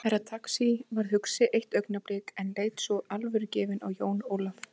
Herra Takashi varð hugsi eitt augnablik en leit svo alvörugefinn á Jón Ólaf.